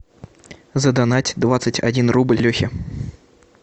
задонать двадцать один рубль лехе